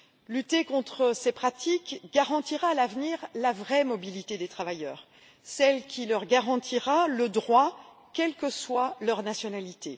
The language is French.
Lutter contre ces pratiques garantira à l'avenir la vraie mobilité des travailleurs, celle qui leur garantira le droit, quelle que soit leur nationalité.